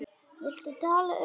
Viltu tala um það?